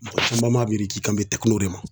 Mɔgɔ caman b'a miiri k'i kan bi de ma.